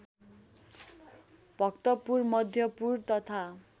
भक्तपुर मध्यपुर तथा